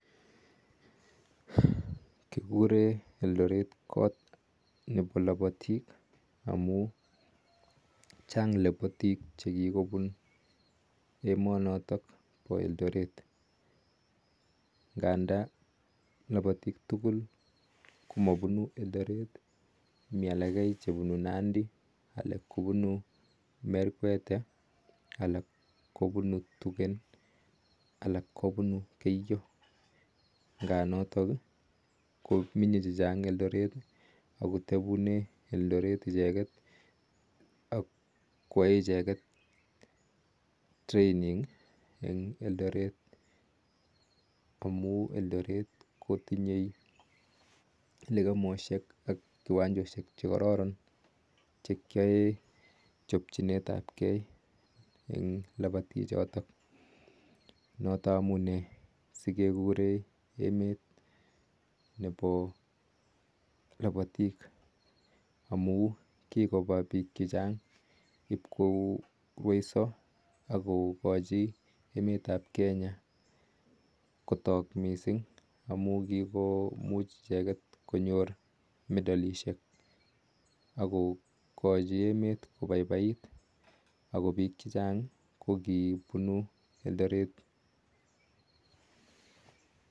Kikureen elteret kot nepo lapatik amun chaang lapatik chepunuu komasatak mengunee elteret amun aee icheket training amun miteii lekemesheek chechaang notok amunee miteii piik chachang olotok chechang kopunuu nandi merkwetee ak kimasweeek alak